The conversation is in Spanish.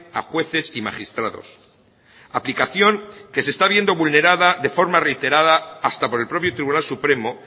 a jueces y magistrados aplicación que se está viendo vulnerada de forma reiterada hasta por el propio tribunal supremo